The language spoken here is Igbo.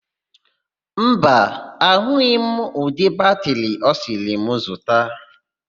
Mba, ahụghị m ụdị batịrị ọ sịrị m zụta.